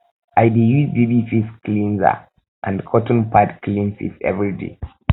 i dey use baby face cleanser and cotton pad clean face everyday